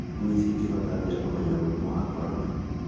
Ngui cingĩhota atĩa kũmenya mũrimũ wa corona?